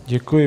Děkuji.